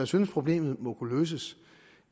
synes problemet må kunne løses